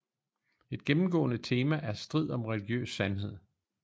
Et gennemgående tema er strid om religiøs sandhed